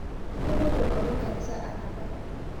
Kopoito lomon nkanisa anapar